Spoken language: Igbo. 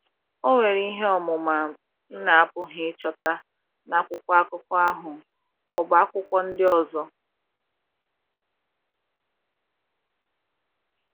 o nwere ihe ọmụma m na - apụghị ịchọta na akwụkwọ akuko ahu ọ bụ akwụkwọ ndị ọzọ.